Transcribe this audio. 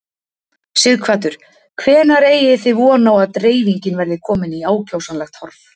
Sighvatur: Hvenær eigið þið von á að dreifingin verði komin í ákjósanlegt horf?